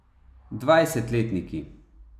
Dvajsetletniki.